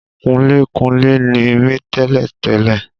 Kunlékunlé ni mí tẹ́lẹ̀ tẹ́lẹ̀